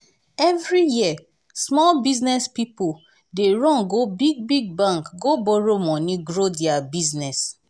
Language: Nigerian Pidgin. every year small business pipo dey run go big-big bank go borrow money grow dia business.